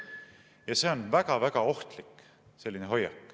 Ja selline hoiak on väga-väga ohtlik.